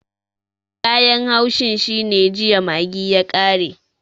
Kayan haushin shine jiya maggi ya kare